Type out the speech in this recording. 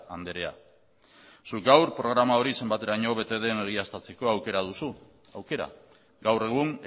andrea zuk gaur programa hori zenbateraino bete den egiaztatzeko aukera duzu aukera gaur egun